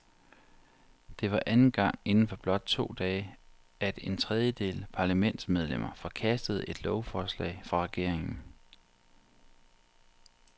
Det var anden gang inden for blot to dage, at en tredjedel parlamentsmedlemmer forkastede et lovforslag fra regeringen.